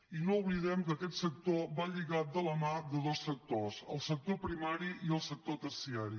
i no oblidem que aquest sector va lligat de la mà de dos sectors el sector primari i el sector terciari